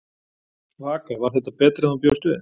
Vaka: Var þetta betra en þú bjóst við?